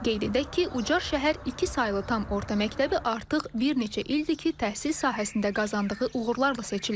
Qeyd edək ki, Ucar şəhər iki saylı tam orta məktəbi artıq bir neçə ildir ki, təhsil sahəsində qazandığı uğurlarla seçilir.